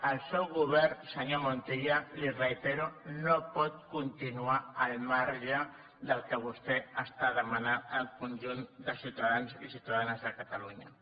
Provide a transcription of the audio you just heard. el seu govern senyor montilla li ho reitero no pot continuar al marge del que vostè està demanant al conjunt de ciutadans i ciutadanes de catalunya